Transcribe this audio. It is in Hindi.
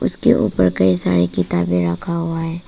उसके ऊपर कई सारे किताबें रखा हुआ है।